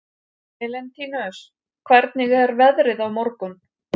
Elentínus, hvernig er veðrið á morgun?